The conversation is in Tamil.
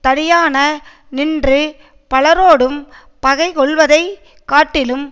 தனியான நின்று பலரோடும் பகைகொள்வதைக் காட்டிலும்